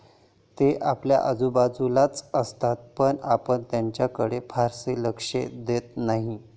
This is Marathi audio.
ते आपल्या आजूबाजूलाच असतात पण आपण त्यांच्याकडे फारसे लक्ष देत नाही.